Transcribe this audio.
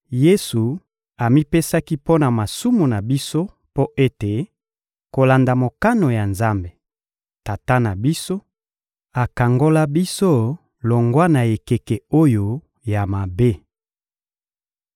Yesu amipesaki mpo na masumu na biso mpo ete, kolanda mokano ya Nzambe, Tata na biso, akangola biso longwa na ekeke oyo ya mabe.